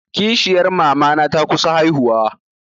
Kishiyar mamana ta kusa haihuwa.